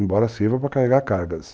Embora sirva para carregar cargas.